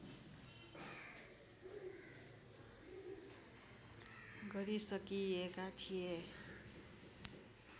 गरिसकिएका थिए